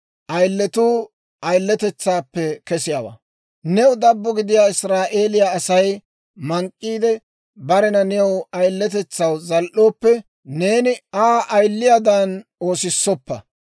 « ‹New dabbo gidiyaa Israa'eeliyaa Asay mank'k'iide, barena new ayiletetsaw zal"ooppe, neeni Aa ayiliyaadan oosissoppa.